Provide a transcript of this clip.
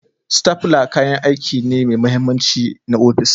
Stapler kayan aiki ne mai mahimmanci na ofis